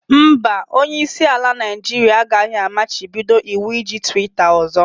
Mba, Onye isi ala Naijiria agaghị amachibido iwu iji twitter ọzọ.